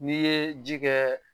N'i ye ji kɛ